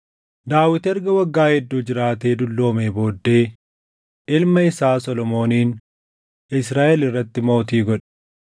Daawit erga waggaa hedduu jiraatee dulloomee booddee ilma isaa Solomoonin Israaʼel irratti mootii godhe.